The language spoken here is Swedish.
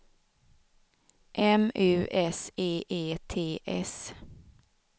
M U S E E T S